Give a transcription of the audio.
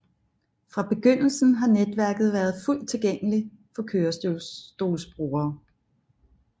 Fra begyndelsen har netværket været fuldt tilgængelig for kørestolsbrugere